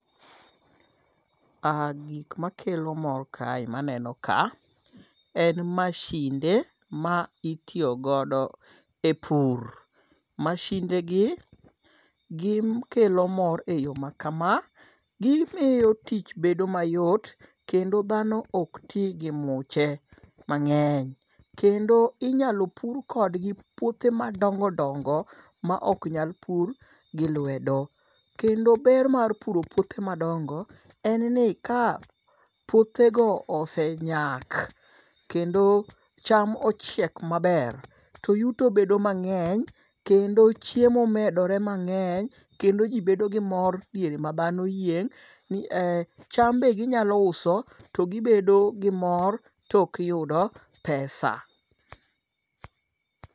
Gik makelo mor kae maneno ka en mashinde ma itiyogodo e pur. Mashinde gi gikelo mor e yo maka. Gimiyo tich bedo mayot kendo dhano ok ti gi muche mang'eny. Kendo inyalo pur kodgi puothe madongo dongo ma ok nyal pur gi lwedo. Kendo ber mar puro piothe madongo en ni ka puothe go osenyak kendo cham ochiek maber to yuto bedo mang'eny kendo chiemo medore mang'eny kendo ji bedo gi mor diere ma dhano yieng'. Cham be ginyalo uso to gibedo gi mor to giyudo pesa.